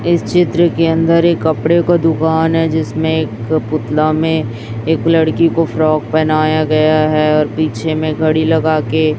इस चित्र के अंदर एक कपड़े का दुकान है जिसमें एक पुतला में एक लड़की को फ्रॉक पहनाए गए हैं और पीछे में घड़ी लगा के--